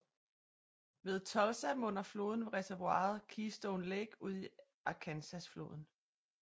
Ved Tulsa munder floden ved reservoiret Keystone Lake ud i Arkansasfloden